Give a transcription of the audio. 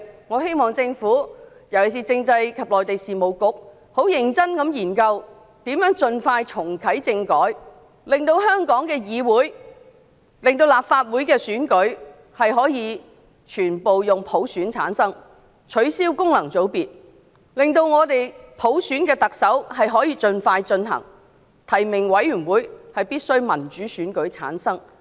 我希望政府——特別是政制及內地事務局——認真研究如何盡快重啟政治制度改革，令香港的立法會選舉可以全部以普選的形式產生，並取消功能組別，讓我們可以盡快進行特首普選，提名委員會必須由民主選舉產生。